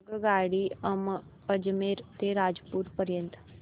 आगगाडी अजमेर ते रामपूर पर्यंत